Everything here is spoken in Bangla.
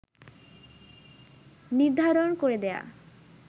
নির্ধারণ করে দেয়া